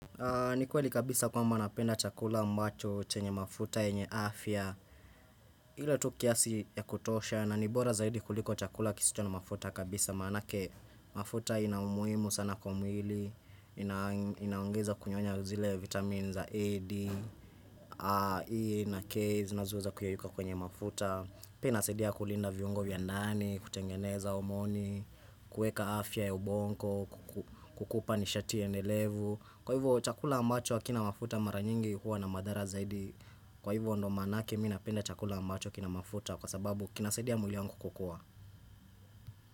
Ni kweli kabisa kwamba napenda chakula ambacho chenye mafuta enye afya Hilo tukiasi ya kutosha na nibora zaidi kuliko chakula kisito na mafuta kabisa Maanake mafuta ina umuimu sana kwa mwili Inaongeza kunyonya uzile vitamin za AD E naK zinazoweza kuyeyuka kwenye mafuta Pia inasaidia kulinda viungo vya ndani, kutengeneza omoni kueka afya ya ubongo, kuku kukupa nishati ya endelevu Kwa hivyo chakula ambacho hakina mafuta maranyingi huwa na madhara zaidi Kwa hivyo ndo manake minapenda chakula ambacho kina mafuta Kwa sababu kinasaidi ya mwili wangu kukua.